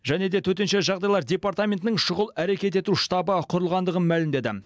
және де төтенше жағдайлар департаментінің шұғыл әрекет ету штабы құрылғандығын мәлімдеді